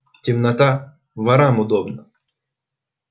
темнота ворам удобно